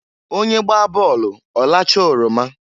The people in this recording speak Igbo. Onye gbaa bọọlụ ọlachaa oroma.